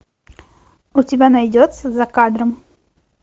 у тебя найдется за кадром